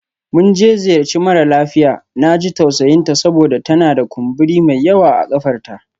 Mun je ziyarci mara lafiya, na ji tausayinta saboda tana da kumburi mai yawa a ƙafarta.